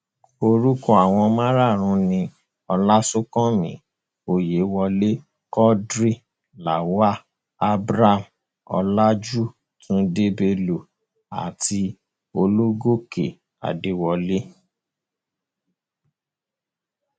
orúkọ àwọn márààrún ni ọláṣùnkànmí ọyẹwọlẹ quadri lawal abraham ọlajù tunde bello àti ológòkè adéwọlẹ